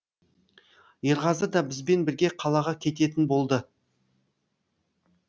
ерғазы да бізбен бірге қалаға кететін болды